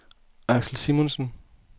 Axel Simonsen